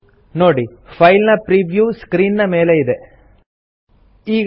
चलिए default setting पर click करें और फिर ಪ್ರಿಂಟ್ ಪ್ರಿವ್ಯೂ बटन पर क्लिक करें ನೋಡಿ ಫೈಲ್ ನ ಪ್ರೀವ್ಯೂ ಸ್ಕ್ರೀನ್ ಮೇಲೆ ಇದೆ